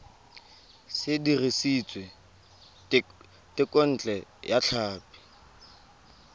se dirisitswe thekontle ya tlhapi